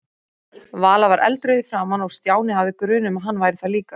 Vala var eldrauð í framan og Stjáni hafði grun um að hann væri það líka.